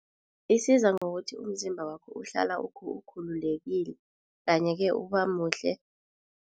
Isiza ngokuthi umzimba wakho uhlala ukhululekile kanye-ke ubamuhle.